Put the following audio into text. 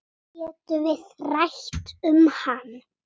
Getum við rætt um hann?